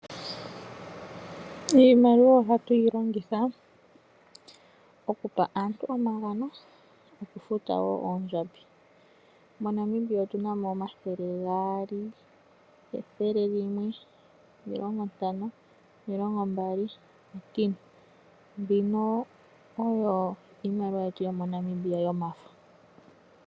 Iimaliwa ohatu yi longitha okupa aantu omagano, okufuta wo aantu oondjambi . MoNamibia otuna mo N$200, N$100, N$50, N$20, N$10, mbino oyo iimaliwa yetu yomoNamibia yomafo.